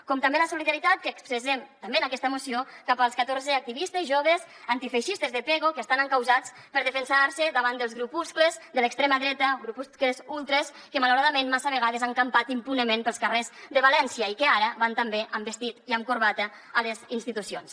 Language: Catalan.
com també la solidaritat que expressem també en aquesta moció cap als catorze activistes joves antifeixistes de pego que estan encausats per defensar se davant dels grupuscles de l’extrema dreta grupuscles ultres que malauradament massa vegades han campat impunement pels carrers de valència i que ara van també amb vestit i amb corbata a les institucions